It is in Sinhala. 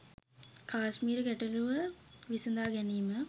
කාශ්මීර ගැටලූව විසඳා ගැනීම